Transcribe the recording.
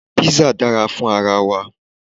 Písà dára fún ara wa.